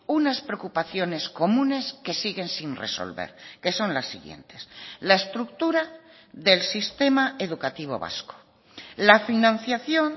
unas preocupaciones comunes que siguen sin resolver que son las siguientes la estructura del sistema educativo vasco la financiación